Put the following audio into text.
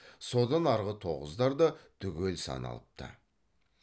содан арғы тоғыздар да түгел саналыпты